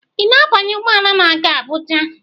Ị na-abanye ụgbọ ala na-aga Abuja?